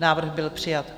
Návrh byl přijat.